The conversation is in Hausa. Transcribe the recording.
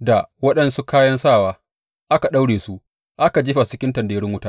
da waɗansu kayan sawa, aka daure su, aka jefa su cikin tanderun wuta.